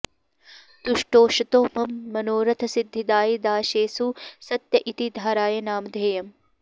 तुष्टूषतो मम मनोरथसिद्धिदायी दासेषु सत्य इति धारय नामधेयम्